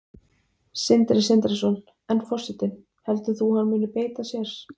Sindri Sindrason: En forsetinn, heldur þú að hann muni beita sér?